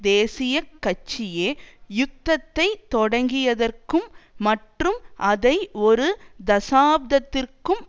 தேசிய கட்சியே யுத்தத்தை தொடங்கியதற்கும் மற்றும் அதை ஒரு தசாப்தத்திற்கும்